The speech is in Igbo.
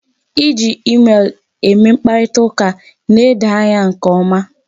Iji emel eme mkparitaụka na-edo anya nke ọma.